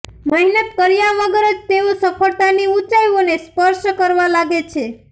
મહેનત કર્યા વગર જ તેઓ સફળતાની ઊંચાઇઓને સ્પર્શ કરવા લાગે છે